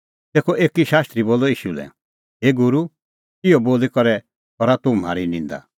तेखअ एकी शास्त्री बोलअ ईशू लै हे गूरू इहअ बोली करै करा तूह म्हारी निंदा